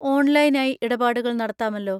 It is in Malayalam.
ഓൺലൈൻ ആയി ഇടപാടുകൾ നടത്താമല്ലോ?